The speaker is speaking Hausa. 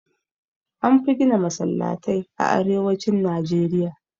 Anfi gina Masallatai a arewacin Najeriya